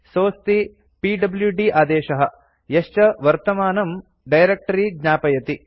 सोऽस्ति PWD आदेशः यश्च वर्तमानं डायरेक्ट्री ज्ञापयति